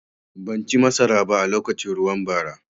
Ban ci masaraba a lokacin ruwan bara.